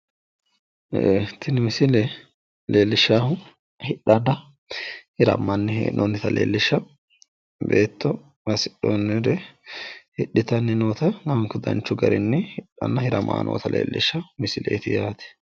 tini misile leellishshaahu hidhanni hiramani hee'noonnita leellishshanno beetto hasidhoonnire hidhitanni nootanna lamunku danchu garinni hidhanna hiramani noota leellishshanno misileeti yaate.